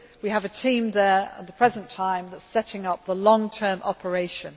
We have a team there at the present time that is setting up the long term operation.